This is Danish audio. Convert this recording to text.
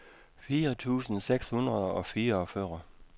fire tusind seks hundrede og fireogfyrre